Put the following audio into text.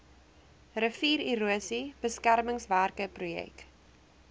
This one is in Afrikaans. riviererosie beskermingswerke projek